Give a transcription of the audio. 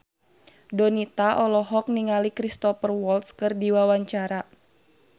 Donita olohok ningali Cristhoper Waltz keur diwawancara